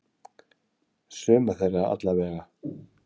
Suma þeirra allavega.